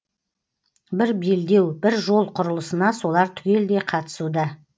бір белдеу бір жол құрылысына солар түгелдей қатысуда